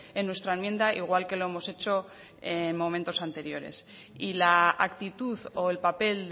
en nuestra enmienda igual que lo hemos hecho en momentos anteriores y la actitud o el papel